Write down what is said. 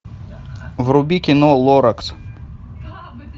вруби кино лоракс